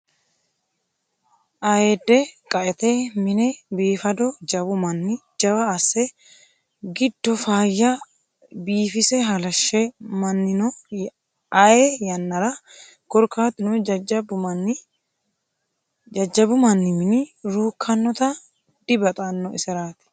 Ayeede qaete mine biifado jawu manni jawa asse giddo faayya biifise halashe minnano ayee yannara korkatuno jajjabbu manni minu rukkanotta dibaxano iserati.